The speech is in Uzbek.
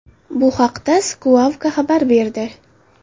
Bu haqda Squawka xabar berdi .